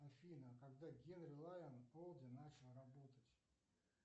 афина когда генри лайон олди начал работать